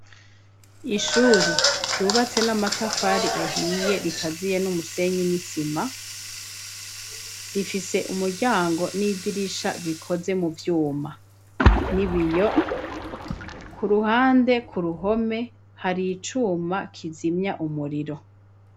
Ishure ryubatse n'amatafari ahiye rikaziye n'umusenyi n'isima, rifise umuryango n'idirisha bikoze mu vyuma n'ibiyo ku ruhande ku ruhome hari icuma kizimya umuriro.